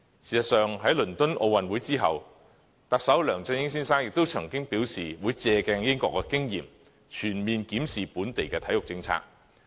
事實上，在倫敦奧運會之後，特首梁振英先生亦曾經表示會借鏡英國的經驗，全面檢視本地的體育政策。